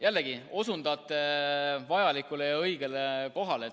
Jällegi osundate vajalikule ja õigele kohale.